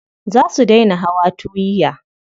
Za su dai na hawa tuwiya.